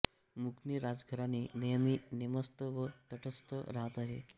मुकणे राजघराणे नेहमी नेमस्त व तटस्थ राहत आले